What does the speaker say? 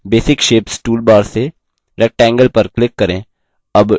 basic shapes toolbar से rectangle पर click करें